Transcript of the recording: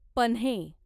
पन्हे